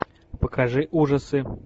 покажи ужасы